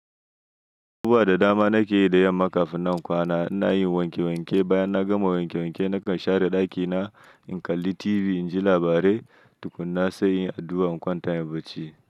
Duba da dama na ke yi da yamma kafin na kwana. Ina yin wanke wanke, bayan na gama wanke wanke na kan share ɗakina, in kalli TV in ji labarai tukuna sai in yi addu'a in kwanta in bacci.